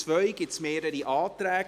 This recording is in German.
Zu Artikel 2 gibt es mehrere Anträge.